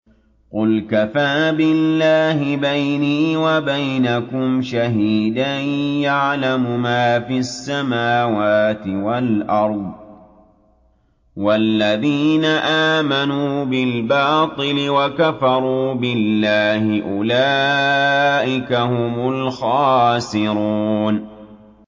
قُلْ كَفَىٰ بِاللَّهِ بَيْنِي وَبَيْنَكُمْ شَهِيدًا ۖ يَعْلَمُ مَا فِي السَّمَاوَاتِ وَالْأَرْضِ ۗ وَالَّذِينَ آمَنُوا بِالْبَاطِلِ وَكَفَرُوا بِاللَّهِ أُولَٰئِكَ هُمُ الْخَاسِرُونَ